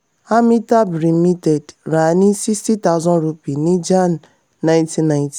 amitabh limited ra ni sixty thousand rupees ní jan nineteen ninety.